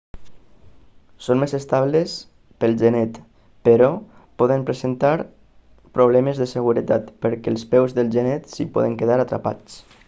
són més estables pel genet però poden presentar problemes de seguretat perquè els peus del genet s'hi podrien quedar atrapats